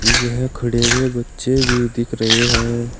यह खड़े हुए बच्चे भी दिख रहे हैं।